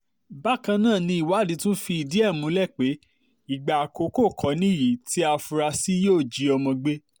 bákan náà ni ìwádìí tún fìdí ẹ̀ múlẹ̀ pé ìgbà àkọ́kọ́ kò níyì tí afurasí yìí yóò jí ọmọ gbé